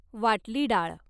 वाटली डाळ